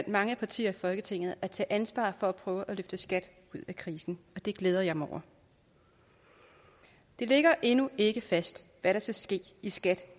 mange partier i folketinget at tage ansvar for at prøve at løfte skat ud af krisen det glæder jeg mig over det ligger endnu ikke fast hvad der skal ske i skat